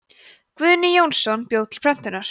guðni jónsson bjó til prentunar